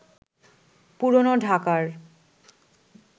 পুরনো ঢাকার